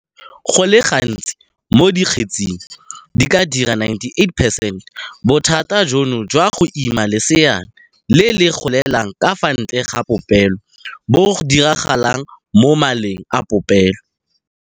Go le gantsi mo dikgetseng di ka dira 98 percent, bothata jono jwa go ima leseana le le golelang ka fa ntle ga popelo bo diragala mo maleng a popelo.